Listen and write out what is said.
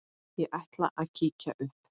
Ég ætla að kíkja upp